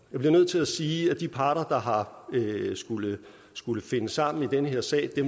jeg bliver nødt til sige at de parter der har skullet skullet finde sammen i den her sag